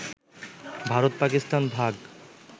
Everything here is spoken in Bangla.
ভারত-পাকিস্তান ভাগ